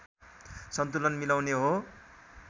सन्तुलन मिलाउने हो